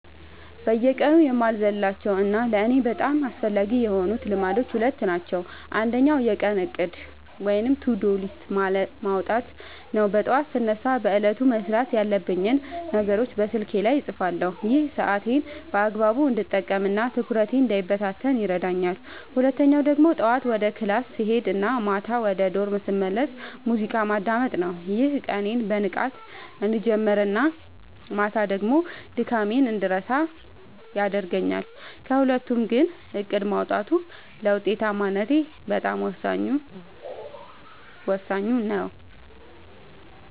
በየቀኑ የማልዘልላቸው እና ለእኔ በጣም አስፈላጊ የሆኑት ልማዶች ሁለት ናቸው። አንደኛው የቀን እቅድ (To-Do List) ማውጣት ነው፤ ጠዋት ስነሳ በዕለቱ መስራት ያለብኝን ነገሮች በስልኬ ላይ እጽፋለሁ። ይሄ ሰዓቴን በአግባቡ እንድጠቀምና ትኩረቴ እንዳይበታተን ይረዳኛል። ሁለተኛው ደግሞ ጠዋት ወደ ክላስ ስሄድ እና ማታ ወደ ዶርም ስመለስ ሙዚቃ ማዳመጥ ነው፤ ይህም ቀኔን በንቃት እንድጀምርና ማታ ደግሞ ድካሜን እንድረሳ ያደርገኛል። ከሁለቱ ግን እቅድ ማውጣቱ ለውጤታማነቴ በጣም ወሳኙ ነው።